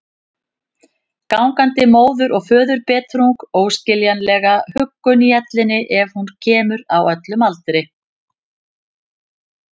Gangandi móður- og föðurbetrung, óskiljanlega huggun í ellinni ef hún kemur, á öllum aldri.